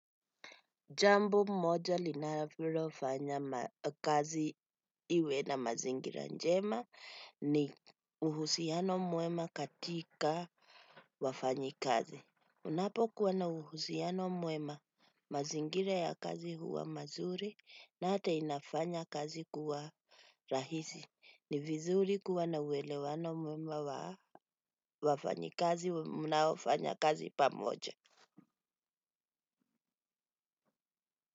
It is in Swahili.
Jambo moja linalo fanya kazi iwe na mazingira njema ni uhusiano mwema katika wafanyi kazi. Unapo kuwa na uhusiano mwema mazingira ya kazi huwa mazuri na ata inafanya kazi kuwa rahisi. Ni vizuri kuwa na huelewano mwema wa wafanyi kazi mnao fanya kazi pamoja.